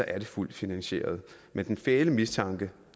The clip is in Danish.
er det fuldt finansieret men den fæle mistanke